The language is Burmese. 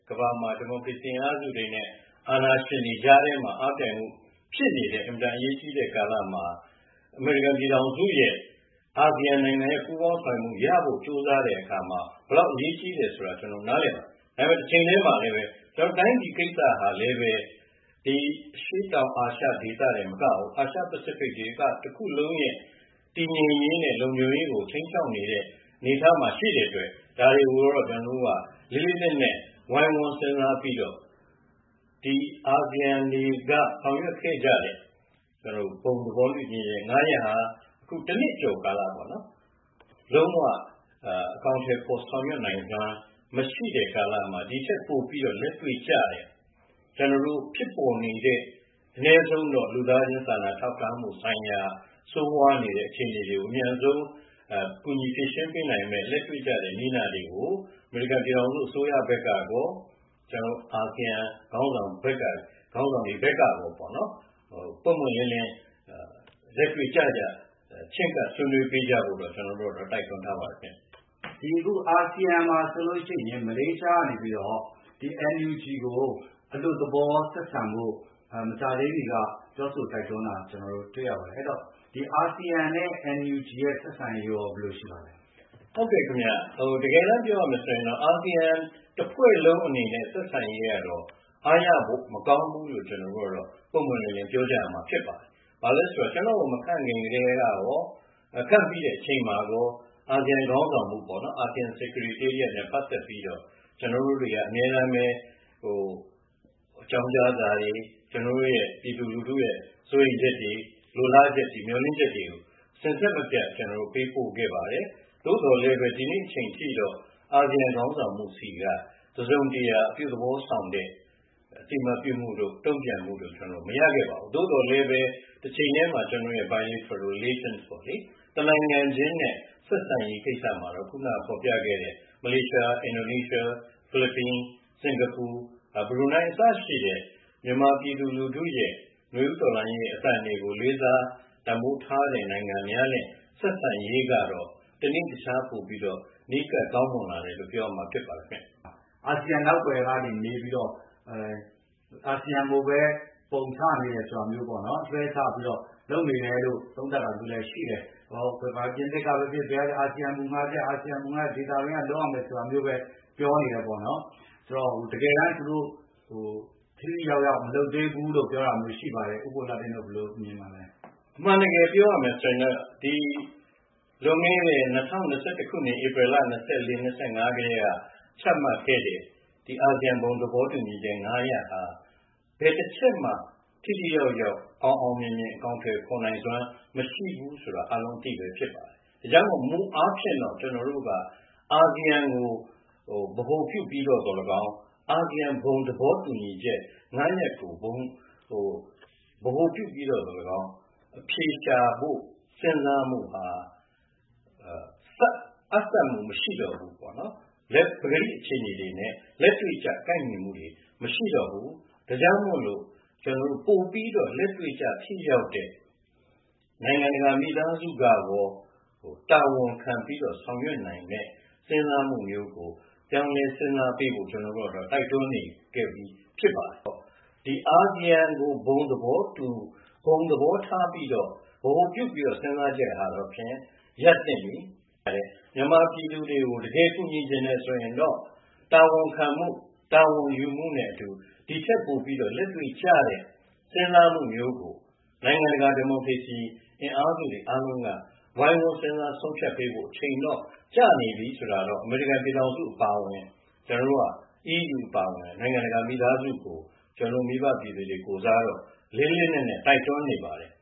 ကမ္ဘာမှာ ဒီမိုကရေစီအင်အားစုတွေနဲ့ အာဏာရှင်တွေကြားထဲမှာ အားပြိုင်မှုဖြစ်နေတဲ့ အင်မတန်အရေးကြီးတဲ့ကာလမှာ အမေရိကန်ပြည်ထောင်စုရဲ့ အာဆီယံရဲ့ပူးပေါင်းဆောင်ရွက်မှုရဖို့ ကြိုးစားတဲ့အခါမှာ ဘယ်လောက်အရေးကြီးလဲဆိုတာ ကျနော်တို့နားလည်ပါတယ်။ ဒါပေမယ့် တချိန်တည်းမှာလည်းပဲ တိုင်းပြည်ကိစ္စဟာလည်းပဲ အရှေ့တောင်အာရှဒေသတင်မကဘူး၊ အာရှ-ပစိဖိတ်ဒေသတခုလုံးရဲ့ တည်ငြိမ်ရေးနဲ့လုံခြုံရေးကို ခြိမ်းခြောက်နေတဲ့ အနေအထားမှာရှိတဲ့အတွက် ဒါတွေကိုတော့ ကျနော်တို့က လေးလေးနက်နက် ဝိုင်းဝန်းစဉ်းစားပြီးတော့ ဒီ အာဆီယံတွေက ဆောင်ရွက်ခဲ့ကြတဲ့ ဘုံသဘောတူညီချက် ၅ ရပ်ဟာ အခု တနှစ်ကျော်ကာလမှာ လုံးဝ အကောင်အထည်ဖော် ဆောင်ရွက်နိုင်စွမ်း မရှိတဲ့ကာလမှာ ဒိထက်ပိုပြီးလက်တွေ့ကျတဲ့ ဖြစ်ပေါ်နေတဲ့ အနည်းဆုံးတော့ လူသားချင်းစာနာထောက်ထားမှုဆိုင်ရာ ဆိုးဝါးနေတဲ့အခြေအနေတွေကို အမြန်ဆုံး ကူညီဖြေရှင်းပေးနိုင်မယ့်၊ လက်တွေ့ကျတဲ့ နည်းနာတွေကို အမေရိကန်ပြည်ထောင်စု အစိုးရဘက်ကကော၊ အာဆီယံခေါင်းဆောင်ဘက်ကကောပေါ့နော်-ပွင့်ပွင့်လင်းလင်း လက်တွေ့ကျကျ ချဉ်းကပ်ဆွေးနွေးပေးကြဖို့တော့ ကျနော်တို့ကတော့ တိုက်တွန်းထားပါတယ်ခင်ဗျ။ အခု အာဆီယံမှာဆိုလို့ရှိရင် မလေးရှားကနေပြီးတော့ NUG ကိုအလွတ်သဘောဆက်ဆံဖို့ မကြာသေးမီက ပြောဆိုတိုက်တွန်းတာ တွေ့ရပါတယ်။ အဲဒီတော့ အာဆီယံနဲ့ NUG ဆက်ဆံရေးရော ဘယ်လိုရှိပါသလဲ။ ဟုတ်ကဲ့ခင်ဗျ။ တကယ်တန်းပြောရမယ်ဆိုရင်တော့ အာဆီယံတဖွဲ့လုံးအနေနဲ့ဆက်ဆံရေးကတော့ အားရဖို့မကောင်းဘူးလို့ ကျနော်တို့ကတော့ ပွင့်ပွင့်လင်းလင်း ပြောကြရမှာဖြစ်ပါတယ်။ ဘာလို့လဲဆိုတော့ ကျနော့်ကို မခန့်ခင်ကတည်းကရော၊ ခန့်ပြီးတဲ့အချိန်မှာကော အာဆီယံခေါင်းဆောင်မှုနဲ့ပတ်သက်ပြီးတော့ ကျနော်တို့တွေက အမြဲတမ်းပဲ အကြောင်းကြားစာတွေ၊ ကျနော်တို့ပြည်သူလူထုရဲ့ စိုးရိမ်ချက်တွေ၊ လိုလားချက်တွေ၊ မျှော်လင့်ချက်တွေကို စဉ်ဆက်မပြတ် ကျနော်တို့ ပေးပို့ခဲ့ပါတယ်။ သို့သော်လည်းပဲ ဒီနေ့အချိန်အထိတော့ အာဆီယံခေါင်းဆောင်မှုဆီက တစုံတရာ အပြုသဘောဆောင်တဲ့ အသိအမှတ်ပြုမှုတို့၊ တုံ့ပြန်မှုတို့ ကျနော်တို့ မရခဲ့ပါဘူး။ သို့သော်လည်းပဲ တချိန်တည်းမှာ ကျနော်တို့ biliteral relation ပေါ့လေ၊ တနိုင်ငံချင်းနဲ့ဆက်ဆံရေးကိစ္စမှာတော့ ခုနကဖော်ပြခဲ့တဲ့ မလေးရှား၊ အင်ဒိုနီးရှား၊ ဖိလစ်ပိုင်၊ စင်ကာပူ၊ ဘရူနိုင်း အစရှိတဲ့ မြန်မာပြည်သူလူထုရဲ့ နွေဦးတော်လှန်ရေးအသံတွေကို လေးစား တန်ဖိုးထားတဲ့နိုင်ငံများနဲ့ ဆက်ဆံရေးကတော့ တနေ့တခြား ပိုပြီးတော့ နီးကပ်ကောင်းမွန်လာတယ်လို့ ပြောရမှာ ဖြစ်ပါတယ်ခင်ဗျ။ အာဆီယံနောက်ကွယ်ကနေ နေပြီးတော့ အာဆီယံကိုပဲ ပုံချနေတယ် ဆိုတာမျိုးပေါ့နော်-လွှဲချပြီးတော့ လုပ်နေတယ်လို့ သုံးသပ်တာမျိုးလည်းရှိတယ်။ ပြင်သစ်ကပဲဖြစ်ဖြစ်၊ ဘယ်ကပဲဖြစ်ဖြစ် အာဆီယံက ဒေသတွင်းက လုပ်ရမယ်ဆိုတာမျိုးပဲ ပြောနေတယ်ပေါ့နော်။ ဆိုတော့ တကယ်တန်း သူတို့ ထိထိရောက်ရောက် မလုပ်သေးဘူးလို့ ပြောတာမျိုး ရှိပါတယ်။ ဦးဘိုလှတင့်တို့ ဘယ်လိုမြင်ပါလဲ။ အမှန်တကယ်ပြောရမယ်ဆိုရင်တော့ လွန်ခဲ့တဲ့ ၂၀၂၁ ခုနှစ်၊ ဧပရယ်လ ၂၄-၂၅ ကတည်းက ချမှတ်ခဲ့တဲ့ အာဆီယံ ဘုံသဘောတူညီချက် ၅ ရပ်ဟာ ဘယ်တချက်မှ ထိထိရောက်ရောက် အောင်အောင်မြင်မြင် အကောင်အထည်ဖော်နိုင်စွမ်း မရှိဘူးဆိုတာ အားလုံးအသိပဲဖြစ်ပါတယ်။ ဒါကြောင့်မို့လို့ မူအားဖြင့်တော့ ကျနော်တို့က အာဆီယံကို ဗဟိုပြုပြီးတော့သော်လည်းကောင်း၊ အာဆီယံ ဘုံသဘောတူညီချက် ၅ ရပ်ကို ဗဟိုပြုပြီးတော့သော်လည်းကောင်း အဖြေရှာဖို့ စဉ်းစားမှုဟာ အပ်စပ်မှုမရှိတော့ဘူးပေါ့နော်။ ပကတိအခြေအနေနဲ့ လက်တွေ့ကျ ကိုက်ညီမှုတွေ မရှိတော့ဘူး၊ ဒါကြောင့်မို့လို့ ပိုပြီးတော့ လက်တွေ့ကျ ထိရောက်တဲ့ နိုင်ငံတကာမိသားစုကကော တာဝန်ခံပြီးတော့ဆောင်ရွက်နိုင်မယ့် စဉ်းစားမှုမျိုးကို ပြောင်းလဲစဉ်းစားပေးဖို့ ကျနော်တို့ကတော့ တိုက်တွန်းနေခဲ့ပြီး ဖြစ်ပါတယ်ပေါ့။ အာဆီယံကို ဘုံသဘောတူ၊ ဘုံသဘောထားပြီးတော့၊ ဗဟိုပြုပြီးတော့ စဉ်းစားချက်ဟာတော့ဖြင့် ရပ်သင့်ပြီ။ မြန်မာပြည်သူတွေကို တကယ်ကူညီချင်တယ်ဆိုရင်တော့ တာဝန်ခံမှု၊ တာဝန်ယူမှုနဲ့အတူ ဒိထက်ပိုပြီး လက်တွေ့ကျတဲ့စဉ်းစားမှုမျိုးကို နိုင်ငံတကာ ဒီမိုကရေစီအင်အားစုတွေအားလုံးက ဝိုင်းဝန်းစဉ်းစား ဆုံးဖြတ်ပေးဖို့အချိန်တော့ကျနေပြီဆိုတာကို အမေရိကန်ပြည်ထောင်စုအပါအဝင်၊ အီးယူအပါအဝင် နိုင်ငံတကာမိသားစုကို ကျနော်တို့မိဘပြည်သူတွေကိုယ်စားတော့ လေးလေးနက်နက် တိုက်တွန်းနေပါတယ်